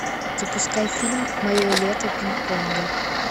запускай фильм мое лето пинг понга